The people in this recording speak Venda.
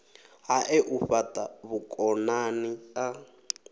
hae u fhata vhukonani a